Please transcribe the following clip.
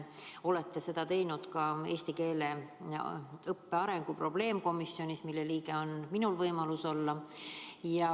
Olete seda teinud ka eesti keele õppe arengu probleemkomisjonis, mille liige on minulgi võimalus olla.